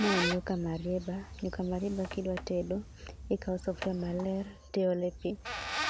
Ma en nyuka marieba. Nyuka marieba kidwa tedo, ikao sufria maler, tiole pi,